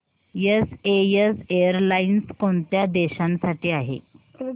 SAS airlines कोणत्या देशांसाठी आहे